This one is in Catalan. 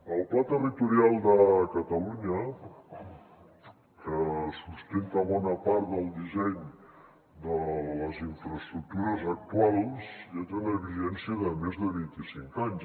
el pla territorial de catalunya que sustenta bona part del disseny de les infraestructures actuals ja té una vigència de més de vint i cinc anys